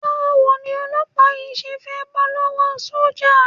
Báwo ni olọ́pàá yìí ṣe fẹ́ bọ́ lọ́wọ́ sọ́jà?